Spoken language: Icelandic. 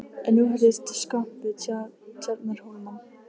En nú heyrðist skvamp við Tjarnarhólmann.